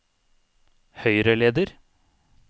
høyreleder